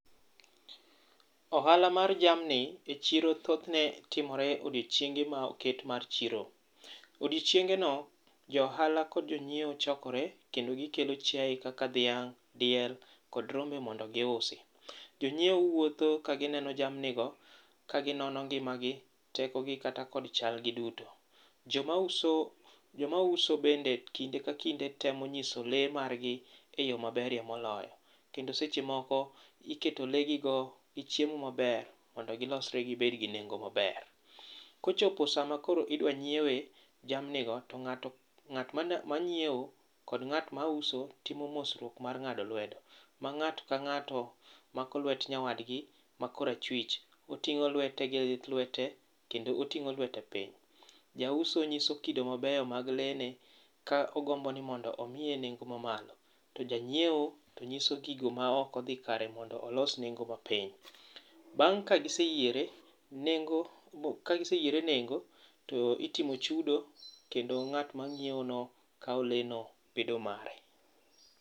Ohala mar jamni e chiro thothne timore e odiechienge ma oket mar chiro. Odiechiengeno, jo ohala kod jo nyiewo chokore kendo gikelo chiaye kaka dhiang', diel kod rombe mondo giusi. Jo nyiewo wuotho ka gineno jamni go, ka ginono ngimagi, tekogi kata kod chalgi duto. Joma uso bende kinde ka kinde temo nyiso lee margi e yoo maberie moloyo kendo seche moko, iketo lee gigo chiemo maber mondo gilosre gibed gi nengo maber. Kochopo saa makoro idwa nyiewe jamnigo to ng'at manyiewo kod ng'at mauso timo mosruok mar ng'ado lwedo. Ma nga'ato ka ng'ato mako lwet nyawadgi makor achich kendo oting'o lwete piny. Jauso nyiso kido mabeyo mag lee ne kogombo mondo ouse enengo ma malo. To ja nyiewo to nyiso gigo maok odhi kare mondo olos nengo mapiny. Bang' ka giseyiere nengo to itimo chudo kendo ng'at manyiewono kawo lee no kendo bedo mare.